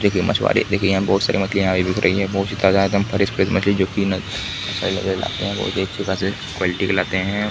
देखिए मछुवारे देखिए यहाँ बहुत सारे मछलियाँ दिख रही है बहुत ही ताजा एवं फ्रेश फ्रेश मछली जो कि इन क्वालिटी में लाते है।